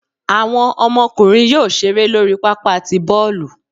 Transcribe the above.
Awọn ọmọkunrín yóò ṣere lori pápá tí bọọlu